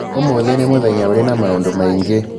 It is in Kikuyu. Ũmũthĩ nĩ mũthenya ũrĩ na maũndũ maingĩ